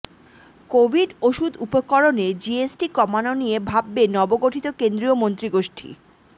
Covid ওষুধ উপকরণে GST কমানো নিয়ে ভাববে নবগঠিত কেন্দ্রীয় মন্ত্রিগোষ্ঠী